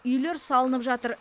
үйлер салынып жатыр